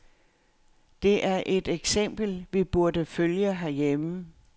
Det er et eksempel, vi burde følge herhjemme.